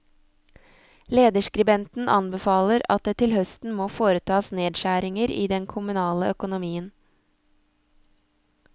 Lederskribenten anbefaler at det til høsten må foretas nedskjæringer i den kommunale økonomien.